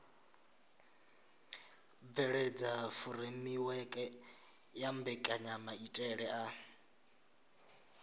bveledza furemiweke ya mbekanyamaitele a